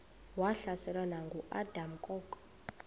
wahlaselwa nanguadam kok